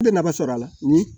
n bɛ nafa sɔrɔ a la